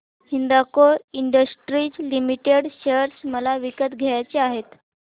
Hindalco industries limited share मला विकत घ्यायचे आहेत